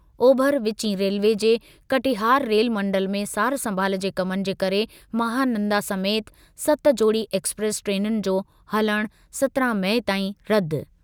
ओभर विचीं रेलवे जे कटिहार रेलमंडल में सार-संभाल जे कमनि जे करे महानंदा समेति सत जोड़ी एक्सप्रेस ट्रेनुनि जो हलणु सत्रहं मई ताईं रदि।